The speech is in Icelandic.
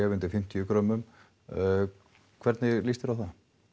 undir fimmtíu grömmum hvernig lýst þér á það